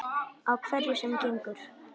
Á hverju sem gengur.